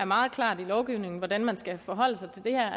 meget klart i lovgivningen hvordan man skal forholde sig til det her